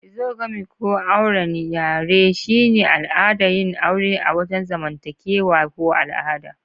Exogamy ko "auwren yare" shine al'adar yin aure a wajen zamantakewa ko al'ada.